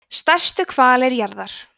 stærstu hvalir jarðar